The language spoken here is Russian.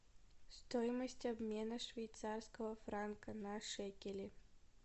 стоимость обмена швейцарского франка на шекели